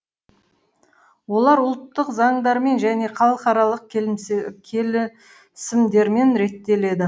олар ұлттық заңдармен және халықаралық келісімдермен реттеледі